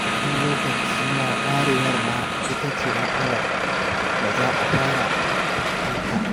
Wani lokacin ma warewar ma ita ce matsalar da za a fara fuskanta.